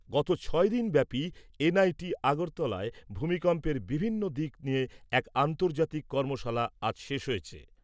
গত ছয়দিন ব্যাপী এনআইটি আগরতলায় ভূমিকম্পের বিভিন্ন দিক নিয়ে এক আন্তর্জাতিক কর্মশালা আজ শেষ হয়েছে।